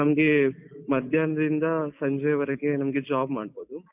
ನಮ್ಗೆ ಮಧ್ಯಾಹ್ನ ದಿಂದ ಸಂಜೆ ವರೆಗೆ ನಮ್ಗೆ job ಮಾಡ್ಬೋದು.